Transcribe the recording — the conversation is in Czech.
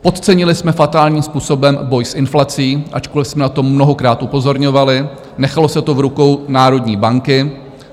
Podcenili jsme fatálním způsobem boj s inflací, ačkoliv jsme na to mnohokrát upozorňovali, nechalo se to v rukou národní banky.